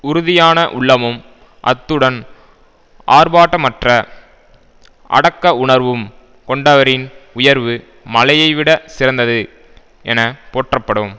உறுதியான உள்ளமும் அத்துடன் ஆர்ப்பாட்டமற்ற அடக்க உணர்வும் கொண்டவரின் உயர்வு மலையைவிடச் சிறந்தது என போற்றப்படும்